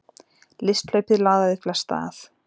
Listhlaupið laðaði flesta að